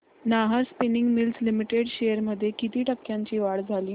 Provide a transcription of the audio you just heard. Nahar spinning mills limited shares मध्ये किती टक्क्यांची वाढ झाली